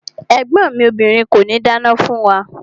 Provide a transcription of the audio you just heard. Ẹ̀gbọ́n mi obìrin kòní dáná fún wa.